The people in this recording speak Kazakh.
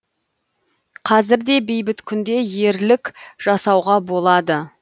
қазір де бейбіт күнде ерлік жасауға болады